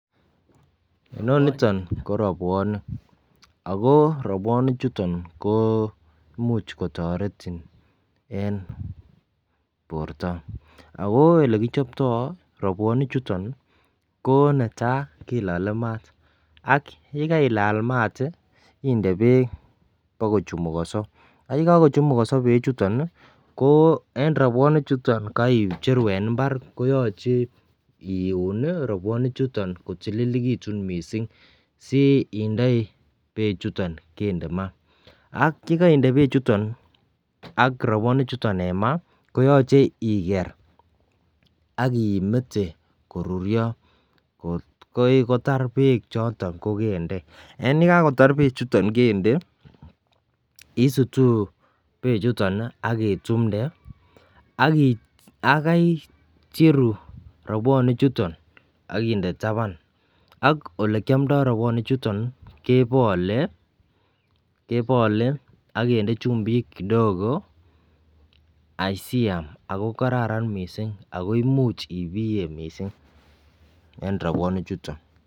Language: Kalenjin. Inoniton ko robwonik ako robwonik chuton ko imuch kotoretin en borto ako elekichoptoo robwonik chuton ko netaa kilole maat ak yekailal maat ih inde beek bokochumukonso ak yekakochumukonso beechuton ih ko en robwonik chuton keicheru en mbar koyoche iun robwonik chuton ko tililekitun missing si indoi bechuton kende maa ak yekoinde maa bechuton ak robwonik chuton en maa koyoche iker ak imete koruryo kot kotar bechoton kokende en yakakotar bechuton kende isutuu bechuton ak itumde ak icheru robwonik chuton ak inde taban ak olekiomdo robwonik chuton kebole kebole ak kinde chumbik kidogo asiam ako kararan missing ako imuch ibiye missing en robwonik chuton